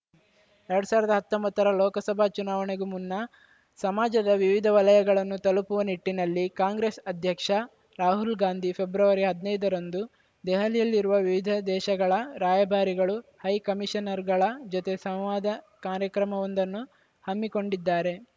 ಎರಡ್ ಸಾವಿರದ ಹತ್ತೊಂಬತ್ತರ ಲೋಕಸಭಾ ಚುನಾವಣೆಗೂ ಮುನ್ನ ಸಮಾಜದ ವಿವಿಧ ವಲಯಗಳನ್ನು ತಲುಪುವ ನಿಟ್ಟಿನಲ್ಲಿ ಕಾಂಗ್ರೆಸ್‌ ಅಧ್ಯಕ್ಷ ರಾಹುಲ್‌ ಗಾಂಧಿ ಫೆಬ್ರವರಿ ಹದ್ನೈದರಂದು ದೆಹಲಿಯಲ್ಲಿರುವ ವಿವಿಧ ದೇಶಗಳ ರಾಯಭಾರಿಗಳು ಹೈಕಮೀಷನರ್‌ಗಳ ಜೊತೆ ಸಂವಾದ ಕಾರ್ಯಕ್ರಮವೊಂದನ್ನು ಹಮ್ಮಿಕೊಂಡಿದ್ದಾರೆ